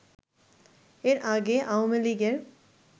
এর আগে আওয়ামীলীগের